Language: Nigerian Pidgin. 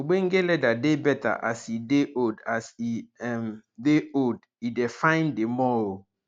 ogbonge leather dey better as e dey old as e um dey old e dey fine di more um